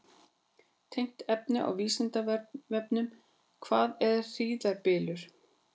Tengt efni á Vísindavefnum: Hvað er hríðarbylur?